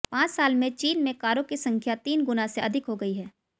पांच साल में चीन में कारों की संख्या तीन गुना से अधिक हो गई है